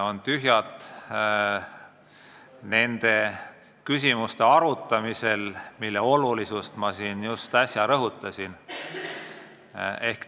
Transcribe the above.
On tühjad nende küsimuste arutamisel, mille olulisust ma äsja rõhutasin.